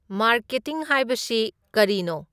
marketing ꯍꯥꯏꯕꯁꯤ ꯀꯔꯤꯅꯣ